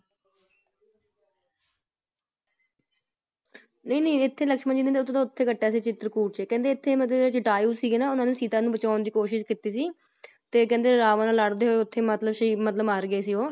ਨਹੀਂ-ਨਹੀਂ ਐਥੇ ਲਕਸ਼ਮਣ ਜੀ ਨਹੀਂ ਉਥੇ ਤੋਂ ਉਥੇ ਕੱਟਿਆ ਸੀ ਚਿਤ੍ਰਕੂਟ ਚ ਕਹਿੰਦੇ ਉਥੇ ਮਤਲਬ ਜਟਾਯੁ ਸੀ ਨਾ ਉੰਨਾ ਨੇ ਸੀਤਾ ਨੂੰ ਬਚਾਉਣ ਦਿ ਕੋਸ਼ਿਸ਼ ਕਿੱਤੀ ਸੀ ਤੇ ਕਹਿੰਦੇ ਰਾਵਾਂ ਨਾਲ ਲੜਦੇ ਹੋਏ ਉਥੇ ਹੀ ਮਤਲਬ ਸ਼ਹੀਦ ਮਤਲਬ ਮਾਰ ਗਯਾ ਸੀ ਉਹ ।